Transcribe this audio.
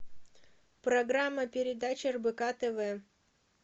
программа передач рбк тв